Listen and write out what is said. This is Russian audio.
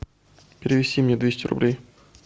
перевести мне двести рублей